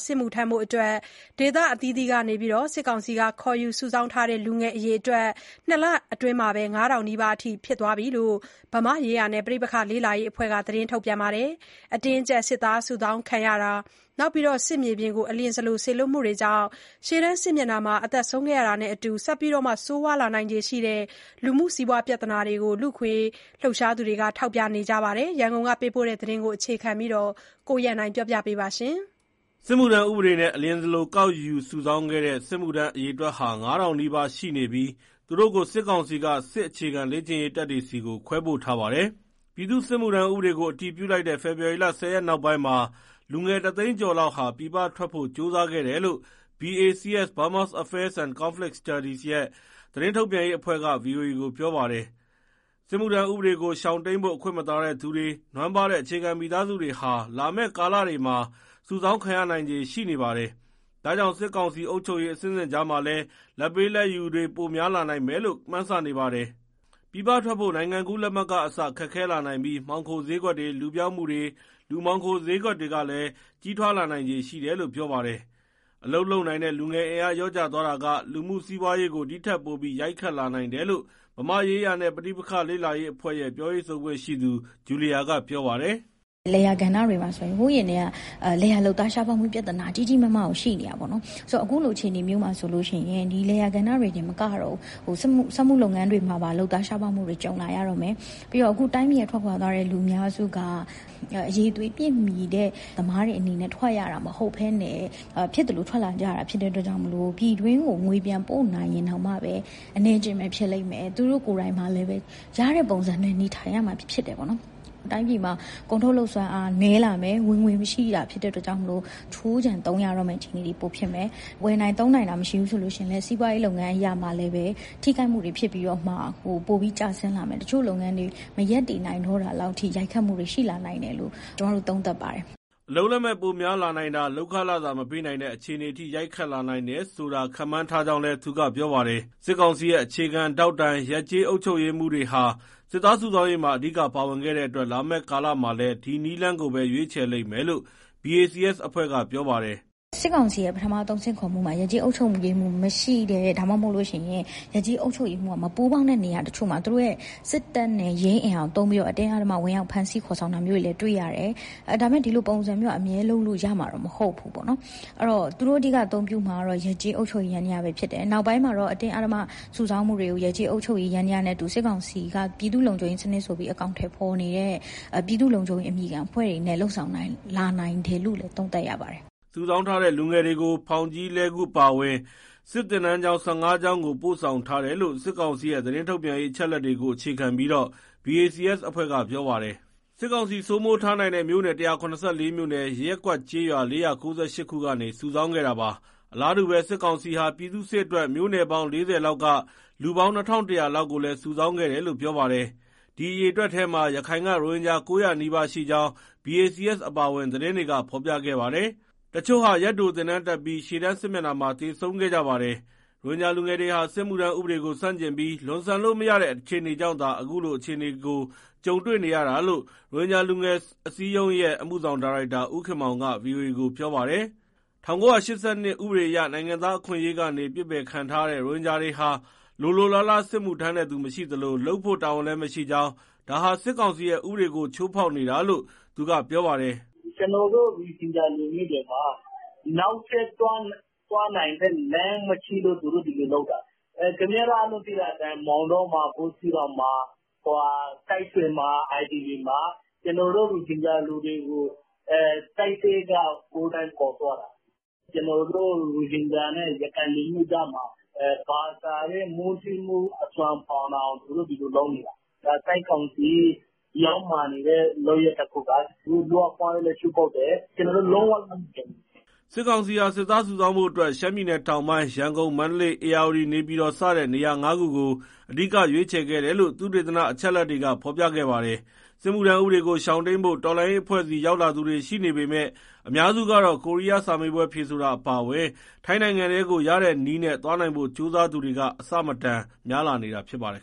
စစ်မှုထမ်းဖို့အတွက် ဒေသအသီးသီးကနေ စစ်ကောင်စီက ခေါ်ယူစုဆောင်းထားတဲ့ လူငယ်အရေအတွက်ဟာ နှစ်လအတွင်းမှာ ၅,၀၀၀ နီးပါး ရှိနေပြီလို့ ဗမာ့ရေးရာနှင့် ပဋိပက္ခလေ့လာရေးအဖွဲ့ က ထုတ်ပြန်ပါတယ်။ အတင်းအကျပ် စစ်သားစုဆောင်းမှု၊ စစ်မြေပြင်ကို အလျင်စလို စေလွှတ်မှုတွေကြောင့် ရှေ့တန်းစစ်မျက်နှာမှာ သေဆုံးတာတွေနဲ့အတူ ဆက်ပြီးဆိုးရွားလာနိုင်ခြေရှိတဲ့ လူမှု၊ စီးပွား ပြဿနာတွေကို လူ့အခွင့်အရေးလှုပ်ရှားသူတွေက ထောက်ပြလိုက်တာ ဖြစ်ပါတယ်။ ဒီအကြောင်း ရန်ကုန်က သတင်းပေးပို့လာတဲ့သတင်းကို အခြေခံပြီး ကိုရန်နိုင်က တင်ပြပေးပါမယ်။ စစ်မှုထမ်းဥပေဒနဲ့ အလျင်စလို ကောက်ယူစုဆောင်းခဲ့တဲ့ စစ်မှုထမ်းအရေအတွက်ဟာ ၅,၀၀၀ နီးပါးရှိနေပြီး သူတို့ကို စစ်ကောင်စီက စစ်အခြေခံလေ့ကျင့်ရေး တပ်တွေဆီကို ခွဲပို့ထားပါတယ်။ ပြည်သူ့စစ်မှုထမ်းဥပဒေကို အတည်ပြုလိုက်တဲ့ ဖေဖော်ဝါရီလ ၁၀ရက်နောက်ပိုင်းမှာ လူငယ် တသိန်းကျော်လောက်ဟာ ပြည်ပထွက်ဖို့ ကြိုးစားခဲ့တယ်လို့ BACS (Burma Affairs and Conflict Studies) ရဲ့ သတင်းထုတ်ပြန်ရေးအဖွဲ့က ဗွီအိုအေကို ပြောပါတယ်။ စစ်မှုထမ်းဥပဒေကို ရှောင်တိမ်းဖို့ အခွင့်မသာတဲ့သူတွေ၊ နွမ်းပါးတဲ့ အခြေခံမိသားစုတွေဟာ လာမဲ့ကာလတွေမှာ စုဆောင်းခံရနိုင်ခြေ ရှိနေပါတယ်။ ဒါကြောင့် စစ်ကောင်စီအုပ်ချုပ်ရေး အဆင့်ဆင့်ကြားမှာလည်း လာဘ်ပေး၊ လာဘ်ယူတွေ ပိုများလာမယ်လို့ မှန်းဆနေပါတယ်။ ပြည်ပထွက်ဖို့ နိုင်ငံကူးလက်မှတ်ကအစ ခက်ခဲလာနိုင်ပြီး မှောင်ခိုစျေးကွက်တွေ၊ လူပျောက်မှုတွေ၊ လူမှောင်ခို စျေးကွက်တွေလည်း ကြီးထွားလာနိုင်ခြေရှိတယ်လို့ ပြောပါတယ်။ အလုပ်လုပ်နိုင်တဲ့ လူငယ်အင်အား လျော့ကျသွားတာက လူမှု၊ စီးပွားရေးကို ဒီထက်ပိုပြီး ရိုက်ခတ်လာနိုင်တယ်လို့ ဗမာ့ရေးရာနှင့် ပဋိပက္ခ လေ့လာရေးအဖွဲ့ရဲ့ ပြောရေးဆိုခွင့်ရှိသူ ဂျူလီယာက ပြောပါတယ်။ "လယ်ယာကဏ္ဍတွေမှာဆိုရင် ဟိုးအရင်ကတည်းက လယ်ယာလုပ်သား ရှားပါးမှုပြဿနာ ကြီးကြီးမားမားကို ရှိနေတာပေါ့နော်။ ဆိုတော့ အခုလို အခြေအနေမျိုးမှာဆိုရင် လယ်ယာကဏ္ဍတွေတင် မကတော့ဘူး စက်မှုလုပ်ငန်းတွေမှာပါ လုပ်သား ရှားပါးမှုတွေ ကြုံလာရတော့မယ်။ ပြီးတော့ တိုင်းပြည်က ထွက်ခွာသွားတဲ့ လူအများစုက အရည်အသွေးပြည့်မီတဲ့ အလုပ်သမားတွေအနေနဲ့ ထွက်ရတာမဟုတ်ဘဲ ဖြစ်သလို ထွက်လာရတာ ဖြစ်တဲ့အတွက်ကြောင့်မို့ ပြည်တွင်းကို ငွေပြန်ပို့ရင်တောင်မှပဲ အနည်းအကျဉ်းပဲ ဖြစ်လိမ့်မယ်။ သူတို့ကိုယ်တိုင်ကလည်း ရတဲ့ပုံစံနဲ့ နေထိုင်ရမှာ ဖြစ်တယ်ပေါ့နော်။ တိုင်းပြည်မှာ ကုန်ထုတ်လုပ်စွမ်းအား နည်းလာမယ်၊ ဝင်ငွေမရှိတာ ဖြစ်တဲ့အတွက်ကြောင့် ခြိုးခြံသုံးရတဲ့အခြေအနေ ပိုဖြစ်မယ်၊ ဝယ်နိုင်သုံးနိုင်တာ မရှိဘူးဆိုရင် စီးပွားရေးလုပ်ငန်း အရမှာလည်း ထိခိုက်မှုတွေဖြစ်ပြီး ပိုပြီး ကျဆင်းလာမယ်၊ တချို့လုပ်ငန်းတွေ မရပ်တည်နိုင်လောက်တဲ့အထိ ရိုက်ခတ်မှုတွေ ရှိလာနိုင်တယ်လို့ ကျမတို့ သုံးသပ်ပါတယ်။" အလုပ်လက်မဲ့ ပိုများလာနိုင်တာ၊ လုပ်ခလစာ မပေးနိုင်တဲ့ အခြေအနေအထိ ရိုက်ခတ်လာနိုင်တယ်ဆိုတာ ခန့်မှန်းထားကြောင်းလည်း သူကပြောပါတယ်။ စစ်ကောင်စီရဲ့ အခြေခံထောက်တိုင် ရပ်/ကျေးအုပ်ချုပ်ရေးမှူးတွေဟာ စစ်သားစုဆောင်းရေးမှာ အဓိကပါဝင်ခဲ့တဲ့အတွက် လာမဲ့ကာလမှာလည်း ဒီနည်းလမ်းကိုပဲ ရွေးချယ်လိမ့်မယ်လို့ BACS အဖွဲ့က ပြောပါတယ်။ " စစ်ကောင်စီရဲ့ ပထမအသုတ် ဆင့်ခေါ်မှုမှာ ရပ်ကျေးအုပ်ချုပ်ရေးမှူး မရှိတဲ့၊ ဒါမှမဟုတ် ရပ်ကျေးအုပ်ချုပ်ရေးက မပူးပေါင်းတဲ့ နေရာတချို့မှာ သူတို့ရဲ့ စစ်တပ်နဲ့ ရဲအင်အားကိုသုံးပြီး အတင်းအဓမ္မ ဝင်ရောက် ဖမ်းဆီး ခေါ်ဆောင်တာမျိုးတွေ တွေ့ရတယ်။ ဒါပေမဲ့ ဒီလိုပုံစံမျိုးက အမြဲ လုပ်လို့ရမှာတော့ မဟုတ်ဘူးပေါ့နော်။ အဲဒီတော့ သူတို့အဓိက အသုံးပြုမှာကတော့ ရပ်ကျေးအုပ်ချုပ်ရေး ယန္တရားပဲဖြစ်တယ်။ နောက်ပိုင်းမှာတော့ အတင်းအဓမ္မ စုဆောင်းမှုတွေကို ရပ်ကျေးအုပ်ချုပ်ရေး ယန္တရားနဲ့အတူ စစ်ကောင်စီက ပြည်သူ့လုံခြုံရေး အမည်ခံအဖွဲ့တွေနဲ့ လုပ်ဆောင်လာနိုင်တယ်လို့ သုံးသပ်ရပါတယ်။" စုဆောင်းထားတဲ့ လူငယ်တွေကို ဖောင်ကြီး(လှည်းကူး) အပါအဝင် စစ်သင်တန်းကျောင်း ၁၅ ကျောင်းကို ပို့ဆောင်ထားတယ်လို့ စစ်ကောင်စီရဲ့ သတင်းထုတ်ပြန်ရေး အချက်အလက်တွေကို အခြေခံပြီး BACS အဖွဲ့က ပြောပါတယ်။ စစ်ကောင်စီ စိုးမိုးထားနိုင်တဲ့ မြို့နယ် ၁၇၄ မြို့နယ်၊ ရပ်ကွက်ကျေးရွာ ၄၉၈ ခုကနေ စုဆောင်းခဲ့တာပါ။ အလားတူပဲ စစ်ကောင်စီဟာ ပြည်သူ့စစ်အတွက် မြို့နယ်ပေါင်း ၄၀လောက်က လူပေါင်း ၂၁၀၀ လောက်ကိုလည်း စုဆောင်းခဲ့တယ်လို့ ပြောပါတယ်။ ဒီအရေအတွက်ထဲမှာ ရခိုင်က ရိုဟင်ဂျာ ၉၀၀ နီးပါးရှိကြောင်း BACS အပါအဝင် သတင်းတွေက ဖော်ပြခဲ့ပါတယ်။ တချို့ဟာ ရက်တိုသင်တန်းတက်ပြီး ရှေ့တန်း စစ်မျက်နှာမှာ သေဆုံးခဲ့ကြပါတယ်။ ရိုဟင်ဂျာလူငယ်တွေဟာ စစ်မှုထမ်းဥပဒေကို ဆန့်ကျင်ပြီး လွန်ဆန်လို့မရတဲ့ အခြေအနေကြောင့်သာ အခုလိုအခြေအနေကို ကြုံတွေ့နေရတာလို့ ရိုဟင်ဂျာလူငယ်အစည်းအရုံးရဲ့ အမှုဆောင်ဒါရိုက်တာ ဦးခင်မောင်က ဗွီအိုအေကို ပြောပါတယ်။ ၁၉၈၂ ဥပဒေအရ နိုင်ငံသားအခွင့်အရေးကနေ ပစ်ပယ်ခံထားရတဲ့ ရိုဟင်ဂျာတွေဟာ လိုလိုလားလား စစ်မှုထမ်းတဲ့သူ မရှိသလို၊ လုပ်ဖို့ တာဝန်လည်းမရှိကြောင်း၊ ဒါဟာ စစ်ကောင်စီရဲ့ ဥပဒေကို ချိုးဖောက်နေတာလို့ သူကပြောပါတယ်။ " ကျနော်တို့ ရိုဟင်ဂျာလူမျိုးတွေက နောက်ထပ်သွားနိုင်တဲ့လမ်းမရှိလို့ သူတို့ ဒီလိုလုပ်တာ။ အားလုံးသိတဲ့အတိုင်း မောင်းတောမှာ၊ ဘူးသီးတောင်မှာ၊ စစ်တွေမှာ IDP မှာ ကျနော်တို့ ရိုဟင်ဂျာတွေကို တပ်ထဲက ကိုယ်တိုင်ခေါ်သွားတာ။ ကျနောတို့ရိုဟင်ဂျာနဲ့ ရခိုင်လူမျိုးကြားမှာ ဘာသာနဲ့ မုန်းတီးမှုဖြစ်အောင် သူတို့ ဒီလိုလုပ်နေတာ။ ဒါ စစ်ကောင်စီ ယုတ်မာနေတဲ့ လုပ်ရပ်တခုပါ။ လူ့အခွင့်အရေးလည်း ချိုးဖောက်တယ်။ ကျနော်တို့ လုံးဝလက်မခံဘူး။" စစ်ကောင်စီဟာ စစ်သားစုဆောင်းဖို့အတွက် ရှမ်းပြည်နယ်တောင်ပိုင်း၊ ရန်ကုန်၊ မန္တလေး၊ ဧရာဝတီ၊ နေပြည်တော် စတဲ့ နေရာငါးခုကို အဓိက ရွေချယ်ခဲ့တယ်လို့ သုတေသန အချက်အလက်တွေက ဖော်ပြခဲ့ပါတယ်။ စစ်မှုထမ်းဥပဒေကို ရှောင်တိမ်းဖို့ တော်လှန်ရေးအဖွဲ့ဆီ ရောက်လာသူတွေ ရှိနေပေမဲ့ အများစုကတော့ ကိုရီးယားစာမေးပွဲ ဖြေဆိုတာအပါအဝင် ထိုင်းနိုင်ငံထဲကို ရတဲ့နည်းနဲ့ သွားနိုင်ဖို့ကြိုးစားသူတွေက အဆမတန် များလာတာဖြစ်ပါတယ်